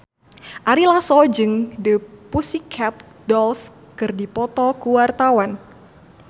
Ari Lasso jeung The Pussycat Dolls keur dipoto ku wartawan